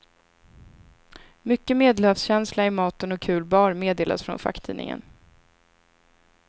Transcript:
Mycket medelhavskänsla i maten och kul bar, meddelas från facktidningen.